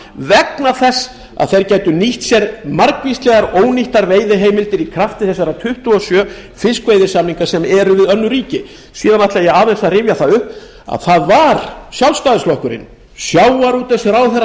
vegna þess að þeir gætu nýtt sér margvíslegar ónýttar veiðiheimildir í krafti þessara tuttugu og sjö fiskveiðisamninga sem eru við önnur ríki síðan ætla ég aðeins að rifja það upp að það var sjálfstæðisflokkurinn sjávarútvegsráðherra